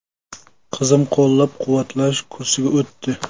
Qizim qo‘llab-quvvatlash kursiga o‘tdi.